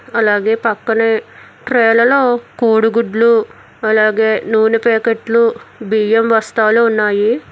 అలాగే పక్కనే ట్రైలలో కోడిగుడ్లు అలాగే నూనె ప్యాకెట్లు బియ్యం బస్తాలు ఉన్నాయి.